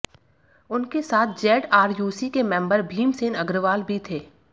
उनके साथ जेडआरयूसी के मेंबर भीमसेन अग्रवाल भी थे